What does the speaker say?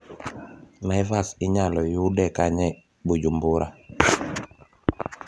Naivas inyalo yude kanye Bujumbura